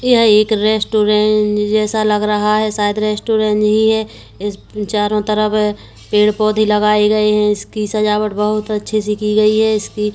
यह एक रेस्टोरेंट ज-ज जैसा लग रहा है शायद रेस्टोरेंट ही है इसके चारों तरफ पेड़ पौधे लगाये गए है इसकी सजावट बहुत अच्छे से की गई है इसकी--